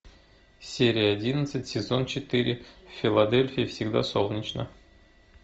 серия одиннадцать сезон четыре в филадельфии всегда солнечно